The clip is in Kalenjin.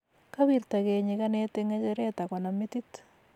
kawirtagei nyikanet eng ngecheret akonam metit